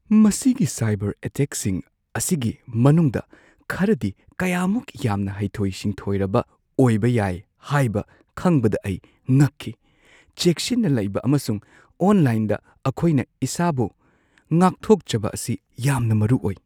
ꯃꯁꯤꯒꯤ ꯁꯥꯏꯕꯔ ꯑꯦꯇꯦꯛꯁꯤꯡ ꯑꯁꯤꯒꯤ ꯃꯅꯨꯡꯗ ꯈꯔꯗꯤ ꯀꯌꯥꯃꯨꯛ ꯌꯥꯝꯅ ꯍꯩꯊꯣꯏ-ꯁꯤꯡꯊꯣꯏꯔꯕ ꯑꯣꯏꯕ ꯌꯥꯏ ꯍꯥꯏꯕ ꯈꯪꯕꯗ ꯑꯩ ꯉꯛꯈꯤ꯫ ꯆꯦꯛꯁꯤꯟꯅ ꯂꯩꯕ ꯑꯃꯁꯨꯡ ꯑꯣꯟꯂꯥꯏꯟꯗ ꯑꯩꯈꯣꯏꯅ ꯏꯁꯥꯕꯨ ꯉꯥꯛꯊꯣꯛꯆꯕ ꯑꯁꯤ ꯌꯥꯝꯅ ꯃꯔꯨ ꯑꯣꯏ꯫